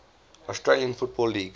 australian football league